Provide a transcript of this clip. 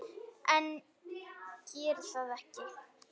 En geri það ekki.